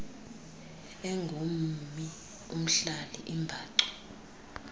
engummi umhlali imbacu